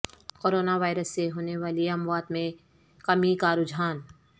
corona virus سے ہونے والی اموات میں کمی کا رجحان